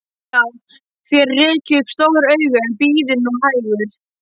Já, þér rekið upp stór augu, en bíðið nú hægur.